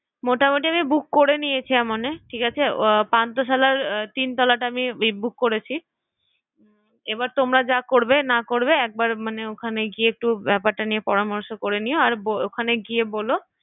মোটামুটি আমি বুক করে নিয়েছি ঠিক আছে পান্থশালার তিনতলাটা আমি বুক করেছি এবার তোমরা যা করবে না করবে একবার মানে ওখানে গিয়ে একটু ব্যাপারটা নিয়ে পরামর্শ করে নিও আর ওখানে গিয়ে বলো